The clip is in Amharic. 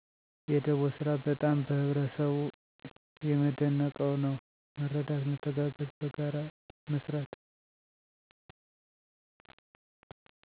የደቦ ስራ በጣም በህበረሰቡ የመደንቀው ነው መረዳት መተጋገዝ በጋራ መስራት።